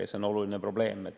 See on oluline probleem.